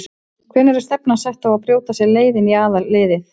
Hvenær er stefnan sett á að brjóta sér leið inn í aðalliðið?